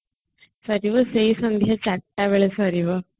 ସରିବ ସେଇ ସନ୍ଧ୍ଯା ଚାରିଟା ବେଳେ ସରିବ